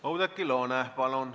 Oudekki Loone, palun!